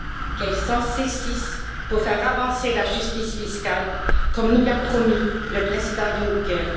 Qu'elle s'en saisisse pour faire avancer la justice fiscale, comme nous l'a promis le président Juncker.